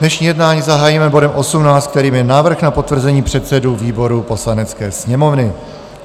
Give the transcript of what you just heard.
Dnešní jednání zahájíme bodem 18, kterým je Návrh na potvrzení předsedů výborů Poslanecké sněmovny.